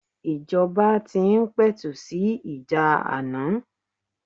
Ìjọba tí ń pẹ̀tù sì ìjà ana.